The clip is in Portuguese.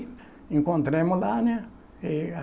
Encontramos lá, né?